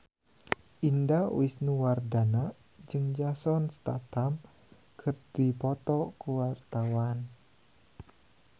Indah Wisnuwardana jeung Jason Statham keur dipoto ku wartawan